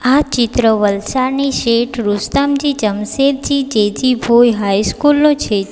આ ચિત્ર વલસાડની શેઠ રુસ્તમજી જમશેદજી જીજીભોઈ હાઈસ્કૂલ નું છે ચિ --